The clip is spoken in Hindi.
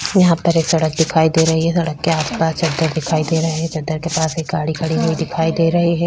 यहाँ पर एक सड़क दिखाई दे रही है । सड़क के आस-पास चद्दर दिखाई दे रहे हैं । चद्दर के पास एक गाडी खड़ीं हुई दिखाई दे रही है ।